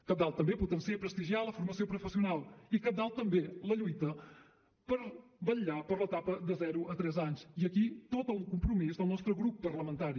cabdal també també potenciar i prestigiar la formació professional i cabdal també la lluita per vetllar per l’etapa de zero a tres anys i aquí tot el compromís del nostre grup parlamentari